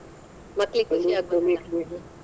ಮಕ್ಳಿಗ್ ಖುಷಿ .